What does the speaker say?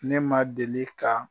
Ne ma deli ka